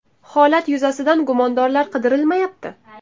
Holat yuzasidan gumondorlar qidirilmayapti.